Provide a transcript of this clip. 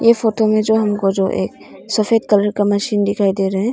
इस फोटो में जो हमको जो एक सफेद कलर का मशीन दिखाई दे रहे हैं।